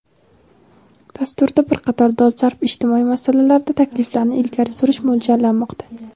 dasturda bir qator dolzarb ijtimoiy masalalarda takliflarni ilgari surish mo‘ljallanmoqda.